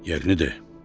Yerini de.